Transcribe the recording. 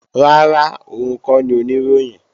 Rárá, òun kọ́ ni Oníròyìn